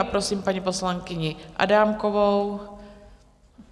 A prosím paní poslankyni Adámkovou.